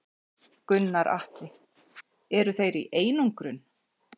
Gunnar Atli: Eru þeir í einangrun?